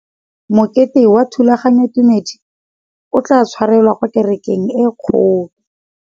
Mokete wa thulaganyôtumêdi o tla tshwarelwa kwa kerekeng e kgolo.